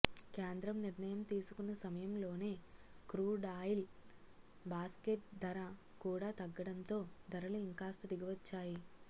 కేంద్రం నిర్ణయం తీసుకున్న సమయంలోనే క్రూడాయిల్ బాస్కెట్ ధర కూడా తగ్గడంతో ధరలు ఇంకాస్త దిగివచ్చాయి